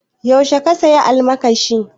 Yaushe ka saya almakashin?